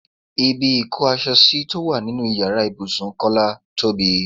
Ibi ìkó aṣọ sí tó wà nínú ìyára ibùsùn Kọ́lá tóbi.